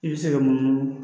I bɛ se ka munumunu